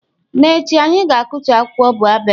N'echi, anyị ga-akụtu akwụkwọ baobab.